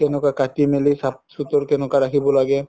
তেনেকুৱা কাতি মিলি কেনেকুৱা চাফ চুতৰ ৰাখিব লাগে